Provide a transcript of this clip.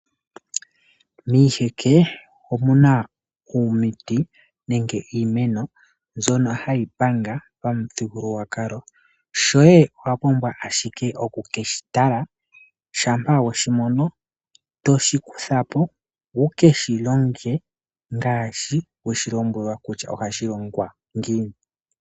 Miiheke omuna omiti nenge iimeno mbyono hayi panga pamuthigululwakalo. Shoye owa pumbwa owala okukeshi tala shampa we shi mono to shi kutha po wu keshi longe ngaashi we shi lombwelwa kutya ohashi longo ngiini.